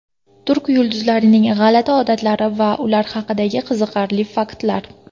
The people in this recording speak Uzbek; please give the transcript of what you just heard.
Turk yulduzlarining g‘alati odatlari va ular haqidagi qiziqarli faktlar.